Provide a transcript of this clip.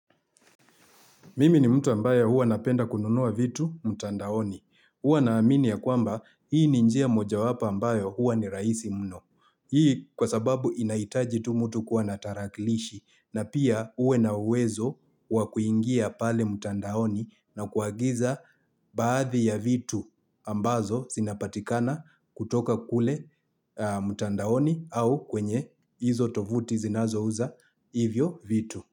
Mimi ni mtu ambaye huwa napenda kununua vitu mtandaoni. Huwa naamini ya kwamba hii ni njia moja wapo ambayo huwa ni rahisi mno. Hii kwa sababu inaitaji tu mtu kuwa na tarakilishi na pia uwe na uwezo wa kuingia pale mtandaoni na kuagiza baadhi ya vitu ambazo zinapatikana kutoka kule mtandaoni au kwenye hizo tovuti zinazo uza hivyo vitu.